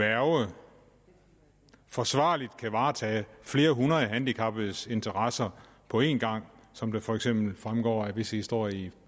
værge forsvarligt kan varetage flere hundrede handicappedes interesser på en gang som det for eksempel fremgår af visse historier i